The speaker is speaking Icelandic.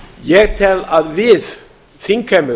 ég tel að okkur þingheimi